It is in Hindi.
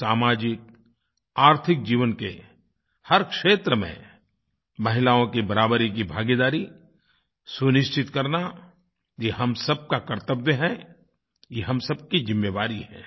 आज सामाजिक आर्थिक जीवन के हर क्षेत्र में महिलाओं की बराबरी की भागीदारी सुनिश्चित करना यह हम सबका कर्तव्य है यह हम सबकी जिम्मेवारी है